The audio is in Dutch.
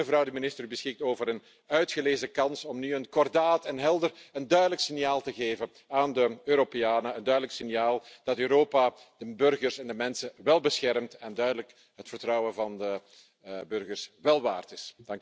Maar u, mevrouw de Minister, beschikt over een uitgelezen kans om nu een kordaat en helder en duidelijk signaal te geven aan de Europeanen, een duidelijk signaal dat Europa de burgers en de mensen wel beschermt en duidelijk het vertrouwen van de burgers wel waard is.